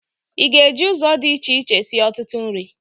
Ị ga-eji ụzọ dị iche sie ọtụtụ nri?